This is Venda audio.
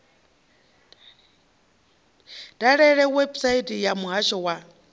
dalele website ya muhasho wa